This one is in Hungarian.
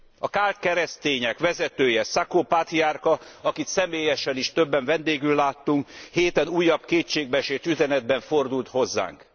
A káld keresztények vezetője, Sako pátriárka, akit személyesen is többen vendégül láttunk, a héten újabb kétségbeesett üzenetben fordult hozzánk.